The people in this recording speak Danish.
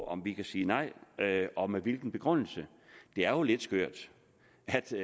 om vi kan sige nej og med hvilken begrundelse det er jo lidt skørt